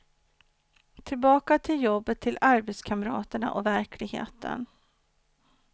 Tillbaka till jobbet, till arbetskamraterna och verkligheten.